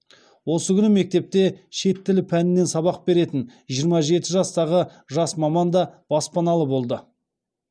осы күні мектепте шет тілі пәнінен сабақ беретін жиырма жеті жастағы жас маман да баспаналы болды